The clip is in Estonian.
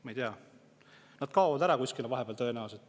Ma ei tea, nad kaovad vahepeal kuskile ära tõenäoliselt.